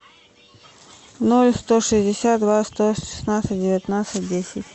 ноль сто шестьдесят два сто шестнадцать девятнадцать десять